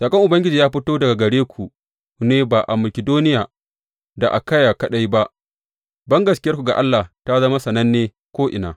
Saƙon Ubangiji ya fito daga gare ku ne ba a Makidoniya da Akayya kaɗai ba bangaskiyarku ga Allah ta zama sananne ko’ina.